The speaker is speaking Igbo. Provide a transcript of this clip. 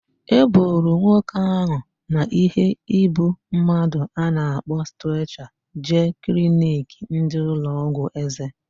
E buru nwoke ahu na ihe ịbụ mmadụ a na-akpọ streecha jee kliniki ndị ụlọ ọgwụ eze